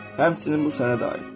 Həmçinin bu sənə də aiddir.